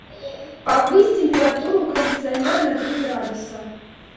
повысь температуру у кондиционера на три градуса